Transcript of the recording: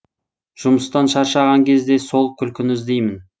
жұмыстан шаршаған кезде сол күлкіні іздеймін